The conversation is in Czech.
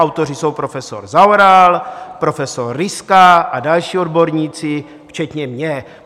Autoři jsou profesor Zaoral, profesor Ryska a další odborníci včetně mě.